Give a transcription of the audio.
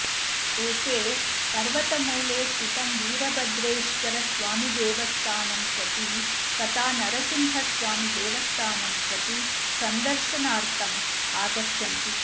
एते पर्वतमूले स्थितं वीरभद्रेश्वरस्वामिदेवस्थानं प्रति तथा नरसिंहस्वामिदेवस्थानं प्रति सन्दर्शनार्थम् आगच्छन्ति